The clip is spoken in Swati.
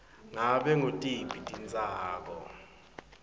ngabe ngutiphi titsako